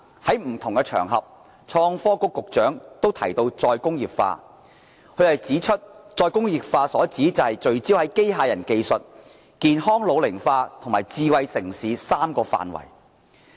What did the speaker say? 創新及科技局局長在不同場合提到再工業化，他指出再工業化所指是聚焦在機械人技術、健康老齡化及智慧城市3個範圍。